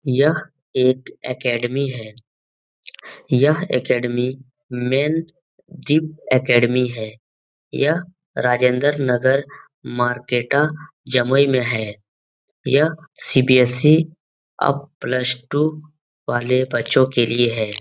यह एक एकेडेमी है। यह एकेडेमी मेन डीप एकेडेमी है। यह राजेन्द्र नगर मार्केटा जमुई में है। यह सी_बी_एस_सी अप प्लस टू वाले बच्चों के लिए है।